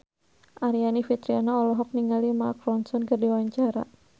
Aryani Fitriana olohok ningali Mark Ronson keur diwawancara